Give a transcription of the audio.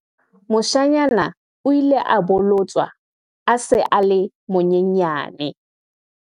Moshanyana o ile a bolotswa a sa le monyenyane.